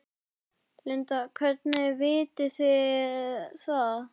Linda: Hvernig vitið þið það?